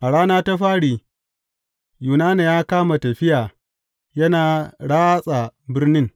A rana ta fari, Yunana ya kama tafiya yana ratsa birnin.